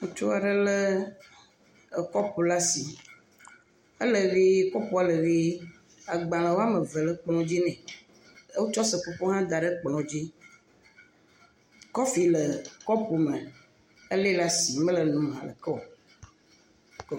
Ŋutsu aɖe lé kɔpu ɖe asi, ele ʋe kɔpua le ʋee, agbalẽ woame eve le dzi nɛ, wotsɔ seƒoƒo hã da ɖe kplɔ dzi. Kɔfi le kɔpu me, ele ɖev asi mele enom haɖe ke o.